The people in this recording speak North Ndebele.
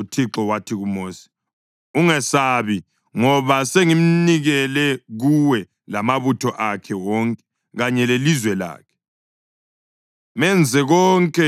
UThixo wathi kuMosi, “Ungamesabi, ngoba sengimnikele kuwe lamabutho akhe wonke kanye lelizwe lakhe. Menze konke